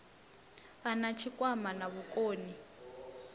a na tshikwama na vhukoni